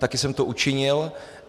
Také jsem to učinil.